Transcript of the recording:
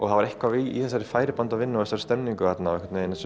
það var eitthvað í þessari færibandavinnu og þessari stemmingu þarna